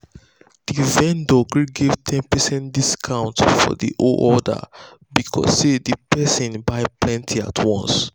the vendor gree give ten percent discount for the whole order because say the person buy plenty at once.